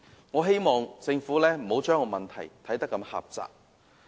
我希望政府不要把問題看得如此狹窄。